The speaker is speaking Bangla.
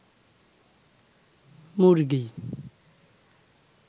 মুরগী